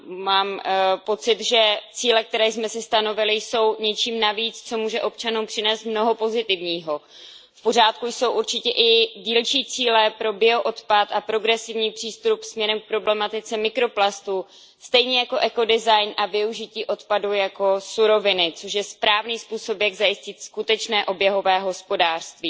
Mám pocit, že cíle, které jsme si stanovili, jsou něčím navíc, co může občanům přinést mnoho pozitivního. V pořádku jsou určitě i dílčí cíle pro bioodpad a progresivní přístup směrem k problematice mikroplastů stejně jako ekodesign a využití odpadů jako suroviny, což je správný způsob, jak zajistit skutečné oběhové hospodářství.